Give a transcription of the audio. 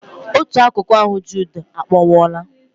Otù akụkụ ahụ Jude a kpọnwụwola.